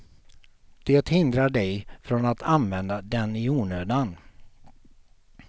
Det hindrar dig från att använda den i onödan.